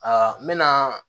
n mɛna